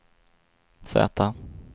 Z